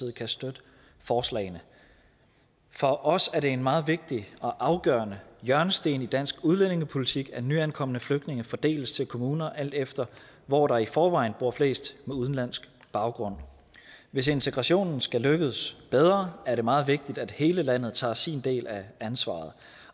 kan støtte forslagene for os er det en meget vigtig og afgørende hjørnesten i dansk udlændingepolitik at nyankomne flygtninge fordeles til kommuner alt efter hvor der i forvejen bor flest med udenlandsk baggrund hvis integrationen skal lykkes bedre er det meget vigtigt at hele landet tager sin del af ansvaret